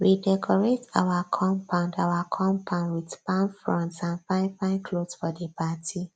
we decorate our compound our compound with palm fronds and fine fine cloths for di party